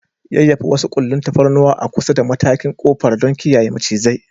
Yayyafa wasu ƙullun tafarnuwa a kusa da matakin ƙofar don kiyaye macizai.